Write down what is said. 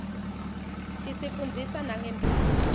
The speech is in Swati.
tisifundzisa nangemphilo